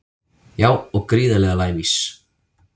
Já og gríðarlega lævís